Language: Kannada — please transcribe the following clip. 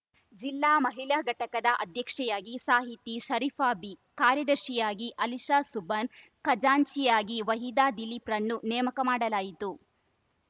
ಜಿಲ್ಲಾ ಮಹಿಳಾ ಘಟಕದ ಅಧ್ಯಕ್ಷೆಯಾಗಿ ಸಾಹಿತಿ ಶರೀಫಾಬಿ ಕಾರ್ಯದರ್ಶಿಯಾಗಿ ಅಲಿಷಸುಭಾನ್‌ ಖಜಾಂಚಿಯಾಗಿ ವಹೀದ ದಿಲೀಪ್‌ರನ್ನು ನೇಮಕ ಮಾಡಲಾಯಿತು